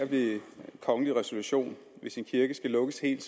ved kongelig resolution hvis en kirke skal lukkes helt